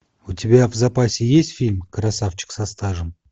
у тебя в запасе есть фильм красавчик со стажем